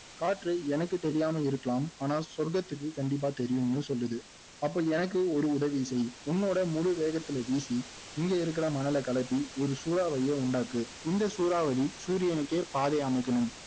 எனக்கு தெரியாமல் இருக்கலாம் ஆனால் சொர்கத்துக்கு கண்டிப்பா தெரியும்னு சொல்லுது அப்போ எனக்கு ஒரு உதவி செய் உன்னோட முழு வேகத்துல வீசி இங்க இருக்குற மணலை கிளப்பி ஒரு சூறாவளியை உண்டாக்கு இந்த சூறாவளி சூரியனுக்கே பாதை அமைக்கணும்